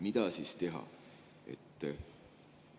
Mida ikkagi teha?